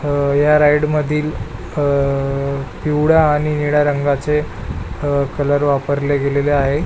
अह ह्या राइड मधील अह पिवळ्या आणि निळ्या रंगाचे अह कलर वापरले गेलेले आहे.